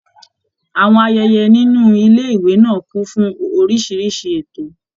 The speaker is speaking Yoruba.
Àwọn ayẹyẹ nínú àwọn ilé ìwé náà kún fún oríṣiríṣi ètò.